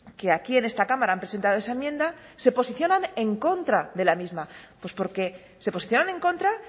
que aquí en esta cámara han presentado esa enmienda se posicionan en contra de la misma pues porque se posicionan en contra